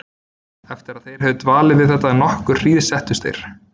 Eftir að þeir höfðu dvalið við þetta nokkra hríð settust þeir.